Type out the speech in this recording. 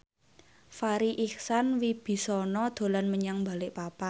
Farri Icksan Wibisana dolan menyang Balikpapan